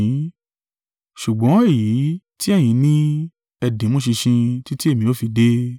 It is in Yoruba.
ṣùgbọ́n èyí tí ẹ̀yin ní, ẹ di mú ṣinṣin títí èmi ó fi dé.